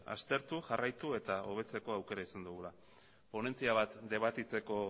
aztertu jarraitu eta hobetzeko aukera izango dugula ponentzia bat debatitzeko